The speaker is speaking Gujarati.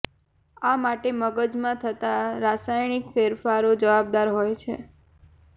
આ માટે મગજમાં થતા રાસાયણિક ફેરફરો જવાબદાર હોય છે